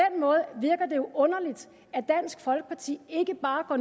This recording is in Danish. jo underligt at dansk folkeparti ikke bare går